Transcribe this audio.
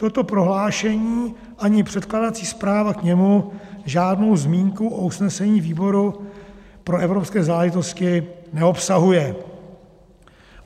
Toto prohlášení ani předkládací zpráva k němu žádnou zmínku o usnesení výboru pro evropské záležitosti neobsahuje.